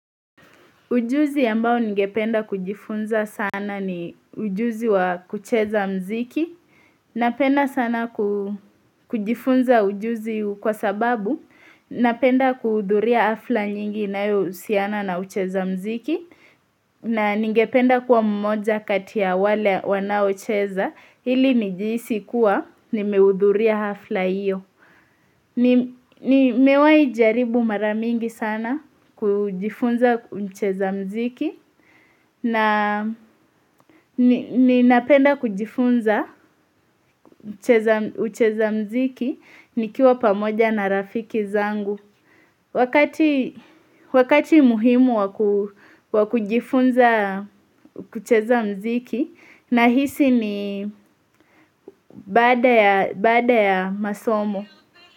Ujuzi ambayo ningependa kujifunza sana ni ujuzi wa kucheza mziki. Napenda sana kujifunza ujuzi kwa sababu, napenda kuhudhuria hafla nyingi inayohusiana na ucheza mziki. Na ningependa kuwa mmoja kati ya wale wanaocheza, hili nijihisi kuwa nimeudhuria hafla iyo. Nimewahijaribu mara mingi sana kujifunza ucheza mziki na ninapenda kujifunza ucheza mziki nikiwa pamoja na rafiki zangu. Wakati muhimu wakujifunza kucheza mziki na hisi ni baada ya masomo.